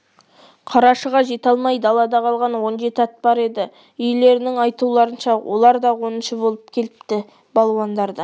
қарашыға жете алмай далада қалған он жеті ат бар еді иелерінің айтуларынша олар да оныншы болып келіпті балуандар да